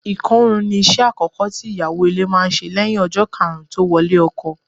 Ìkọrún ni iṣẹ́ àkọ́kọ́ tí ìyàwó ilé máa ń ṣe lẹ́yìn ọjọ́ karùn-ún tó wọlé ọkọ.